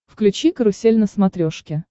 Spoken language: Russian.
включи карусель на смотрешке